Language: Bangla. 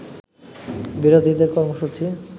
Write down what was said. বিরোধীদের কর্মসূচী